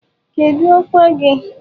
Kedu ọkwa gị?